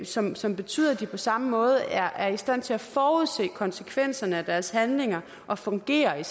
som som betyder at de på samme måde er i stand til at forudse konsekvenserne af deres handlinger og fungere i